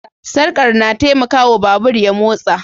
Sarkar na taimaka wa babur ya motsa.